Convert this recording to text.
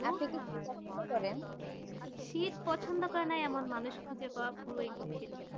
আপনি কি পছন্দ করেন শীত পছন্দ করেনা এমন মানুষ খুঁজে পাওয়া খুবই কঠিন